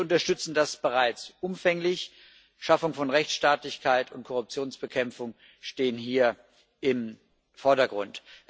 Wir unterstützen das bereits umfänglich Schaffung von Rechtsstaatlichkeit und Korruptionsbekämpfung stehen hier im Vordergrund.